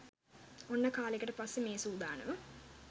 ඔන්න කාලෙකට පස්සේ මේ සුදානම